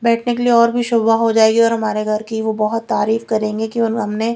बैठने के लिए और भी शोभा हो जायेंगी और हमारे घर की बहोत तारीफ़ करेंगे की हमने--